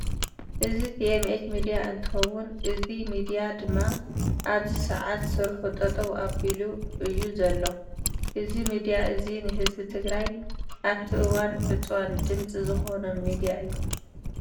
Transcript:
እዚ tmh ሚድያ እንትከውን እዚ ሚድያ ድማ ኣብዚ ሰዓት ስርሑ ጠጠው ኣቢሊ እእዩ ዘሎ። እዚ ምድያ እዚ ንህዝቢ ትግራይ ኣብቲ እዋን ዕፅዋን ድምፂ ዝኮኖ ሚድያ እዩ።